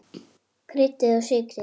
Kryddið og sykrið.